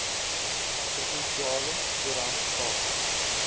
provinsiale koerant sake